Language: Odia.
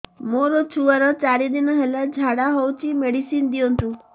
ମୋର ଛୁଆର ଚାରି ଦିନ ହେଲା ଝାଡା ହଉଚି ମେଡିସିନ ଦିଅନ୍ତୁ